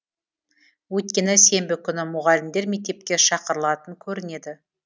өйткені сенбі күні мұғалімдер мектепке шақырылатын көрінеді